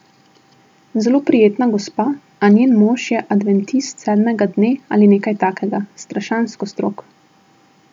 Zelo prijetna gospa, a njen mož je adventist sedmega dne ali nekaj takega, strašansko strog.